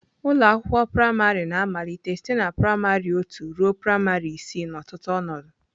Ụlọ akwụkwọ praịmarị na-amalite site na praịmarị otu ruo praịmarị isii n'ọtụtụ ọnọdụ.